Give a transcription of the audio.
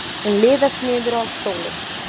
Hún liðast niður á stólinn.